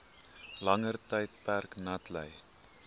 langer tydperk natlei